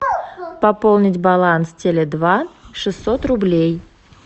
пополнить баланс теле два шестьсот рублей